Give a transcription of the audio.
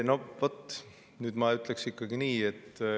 Aitäh!